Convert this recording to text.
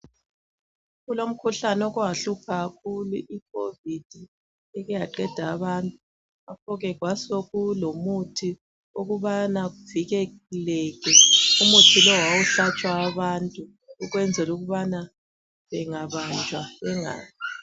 Kulomkhuhlane okewahlupha kakhulu ikhovidi, ike yaqeda abantu. Ngakho ke kwasokulomuthi okubana uvikelele. Umuthi lo wawuhltshwa abantu ukwenzela ukubana bengabanjwa bengafi.